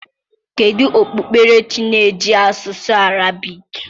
Kedu okpukperechi na-eji asụsụ Arabic?